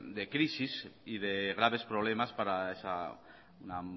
de crisis y de graves problemas para esa